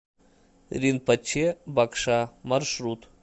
ринпоче багша маршрут